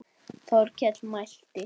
Þórkell mælti